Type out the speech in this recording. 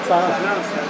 Canım sənin.